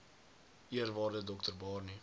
eerwaarde dr barney